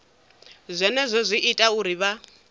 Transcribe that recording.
zwenezwo zwi ita uri vha